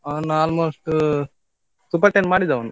ಅವನು almost super ten ಮಾಡಿದ ಅವನು.